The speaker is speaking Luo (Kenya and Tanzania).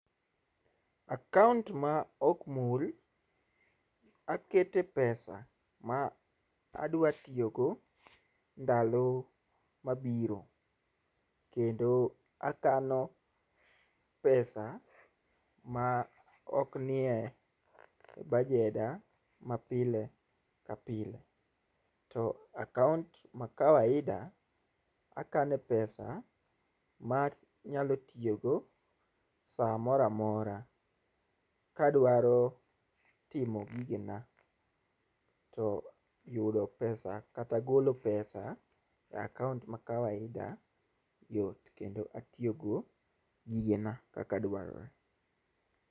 Account ma okmul, akete pesa ma adwa tiyogo ndalo mabiro, kendo akano pesa ma oknie bajeda ma pile kapile. To account ma kawaida, akane pesa ma anyalo tiyogo saa moramora, ka adwaro timo gigena, to yudo pesa kata golo pesa e account ma [cs[kawaida yot, kendo atiyogo gigena kakadwarore.